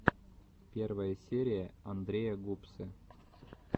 первая серия андрея гупсы